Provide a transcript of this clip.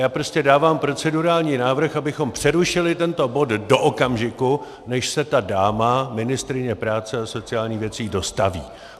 Já prostě dávám procedurální návrh, abychom přerušili tento bod do okamžiku, než se ta dáma, ministryně práce a sociálních věcí, dostaví.